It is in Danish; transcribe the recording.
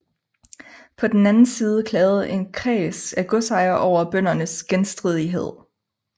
På den anden side klagede en kreds af godsejere over bøndernes genstridighed